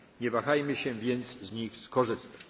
narzędziami. Nie wahajmy się, więc z nich